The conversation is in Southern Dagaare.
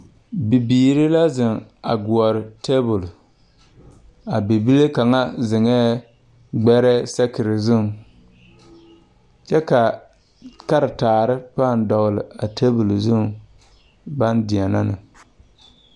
Bibiire la zeŋ a gɔɔre tabol a bibile kaŋa zeŋɛɛ gbɛrɛɛ sakire zuŋ kyɛ ka karetaare paŋ dɔgle a tabol zuŋ baŋ deɛnɛ ne.